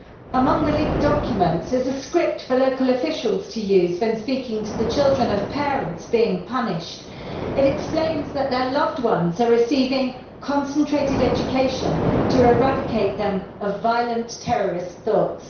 Among the leaked documents is a script for local officials to use when speaking to the children of parents being punished. It explains that their loved ones are receiving concentrated education to eradicate them of violent terrorist thoughts.